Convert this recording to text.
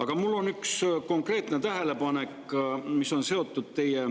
Aga mul on üks konkreetne tähelepanek, mis on seotud teie